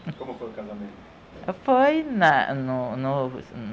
Como foi o casamento? Foi, na, no, no